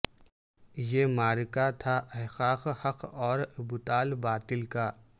یہ معرکہ تھا احقاق حق اور ابطال باطل کا